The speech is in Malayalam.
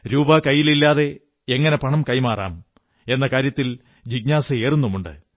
രൂപ കൈയിലില്ലാതെ എങ്ങനെ പണം കൈമാറാം എന്ന കാര്യത്തിൽ ജിജ്ഞാസയുമേറുന്നുണ്ട്